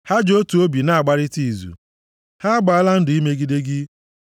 Ha ji otu obi na-agbarịta izu; ha agbaala ndụ imegide gị,